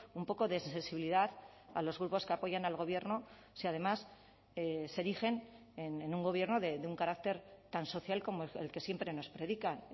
un poco de sensibilidad a los grupos que apoyan al gobierno si además se erigen en un gobierno de un carácter tan social como el que siempre nos predican